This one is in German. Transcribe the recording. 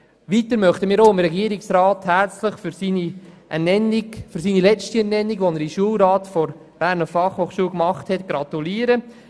Ausserdem möchten wir dem Regierungsrat für seine letzte Ernennung in den Schulrat der Berner Fachhochschule gratulieren.